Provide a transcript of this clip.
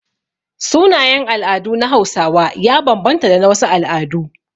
Sunayen al'adu na Hausawa ya banbanta da na wasu al'adu.